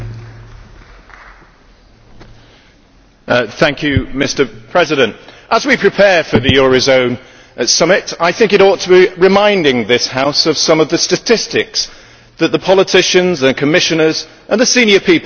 Mr President, as we prepare for the eurozone summit, I think it ought to be reminding this House of some of the statistics that the politicians and Commissioners and the senior people will be looking at on that day. GDP across Europe is